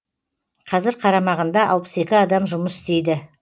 қазір қарамағында алпыс екі адам жұмыс істейді